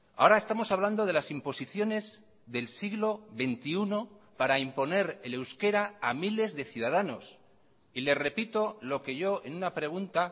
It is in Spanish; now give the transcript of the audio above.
ahora estamos hablando de las imposiciones del siglo veintiuno para imponer el euskera a miles de ciudadanos y le repito lo que yo en una pregunta